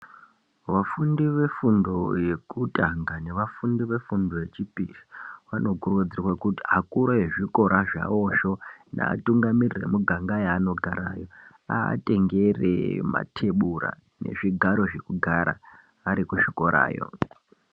Vafundi vefundo yekutanga nevafundi vefundo yechipiri, vanokurudzirwa kuti akuru ezvikora zvavozvo, neatungamiriri vemuganga yaanogarayo, avatengere matebura nezvigaro zvekugara ari kuzvikorayo.